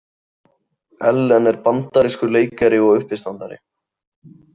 Ellen er bandarískur leikari og uppistandari.